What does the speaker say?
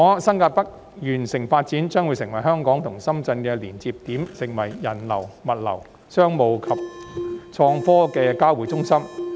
新界北完成發展後，將會成為香港與深圳的連接點，是人流、物流、商務及創科業的交匯中心。